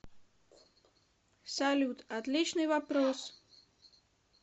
салют отличный вопрос